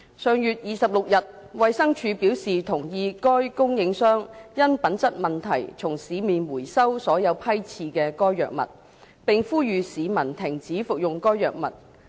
上月26日，衞生署表示同意該供應商因品質問題從市面回收所有批次的該藥物，並呼籲市民停止服用該藥物。